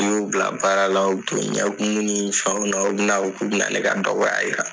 N'u bila baara la u bi to ɲɛkumu ni fɛnw na u bɛ na fɔ ko bɛ na ne ka dɔgɔya yira.